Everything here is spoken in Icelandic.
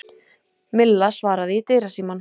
Milla svaraði í dyrasímann.